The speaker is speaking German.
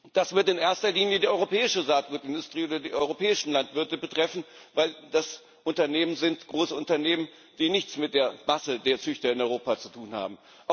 Das wird in erster Linie die europäische Saatgutindustrie oder die europäischen Landwirte betreffen, weil das Großunternehmen sind, die nichts mit der Masse der Züchter in Europa zu tun haben.